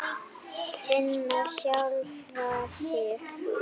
Finna sjálfa sig.